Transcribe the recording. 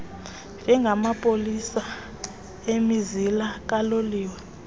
njengamapolisa emizila kaloliwe